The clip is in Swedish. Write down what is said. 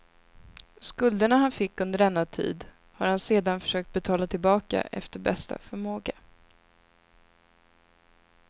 Skulderna han fick under denna tid har han sedan försökt betala tillbaka efter bästa förmåga.